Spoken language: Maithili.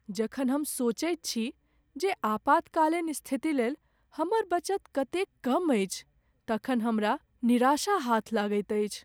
जखन हम सोचैत छी जे आपातकालीन स्थिति लेल हमर बचत कतेक कम अछि तखन हमरा निराशा हाथ लगैत अछि।